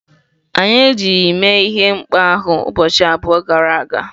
Anyị ejighị mee ihe mkpọ ahụ ụbọchị abụọ gara aga.